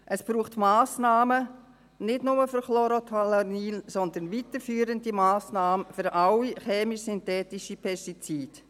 Es braucht Massnahmen nicht nur für Chlorothalonil, sondern weiterführende Massnahmen für alle chemisch-synthetischen Pestizide.